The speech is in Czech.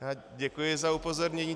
Děkuji za upozornění.